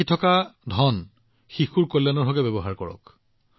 সঞ্চয় কৰা ধনক শিশুৰ উন্নতিৰ বাবে ব্যৱহাৰ কৰক